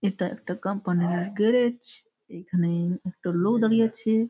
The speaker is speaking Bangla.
এটা একটা কোম্পানিলা গ্যারেজ । এখানে একটা লোক দাঁড়িয়ে আছে ।